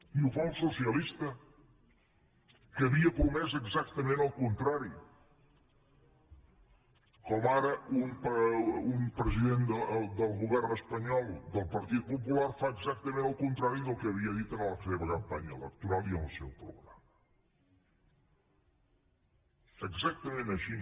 i ho fa un socialista que havia promès exactament el contrari com ara un president del govern espanyol del partit popular fa exactament el contrari del que havia dit en la seva campanya electoral i en el seu programa exactament així